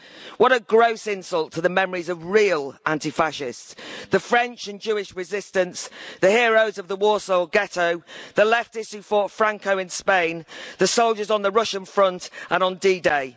What a gross insult to the memories of real anti Fascists, the French and Jewish resistance, the heroes of the Warsaw ghetto, the leftists who fought Franco in Spain, and the soldiers on the Russian front and on D Day.